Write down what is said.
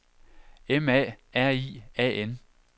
M A R I A N